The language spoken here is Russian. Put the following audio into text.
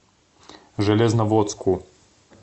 железноводску